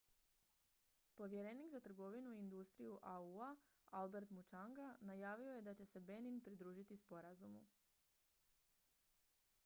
povjerenik za trgovinu i industriju au-a albert muchanga najavio je da će se benin pridružiti sporazumu